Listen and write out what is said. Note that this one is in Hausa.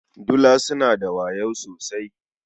Dila suna da wayo sosai.